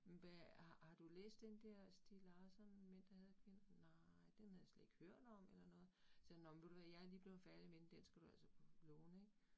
Men hvad har har du læst den der Stieg Larsson Mænd der hader kvinder? Nej, den havde jeg slet ikke hørt om eller noget, sagde han nåh men ved du hvad jeg lige blevet færdig med den, den skal du altså låne ik